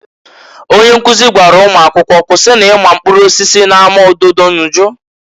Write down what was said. Onye nkuzi gwara ụmụakwọ, "Kwusinu ịma mkprụrụ osisi na-ama ododo nju!"